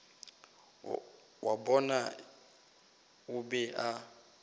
wa bona o be a